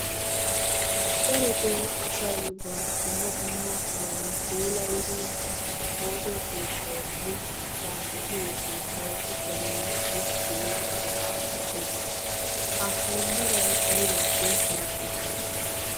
Darottoo asay ba dumma dumma meran puulayidi ooso keettawunne ba de'iyo keettawu uttanawu go'ettiyowonbbaraa medhdhees, ha wonbbaray aybaappe meretti?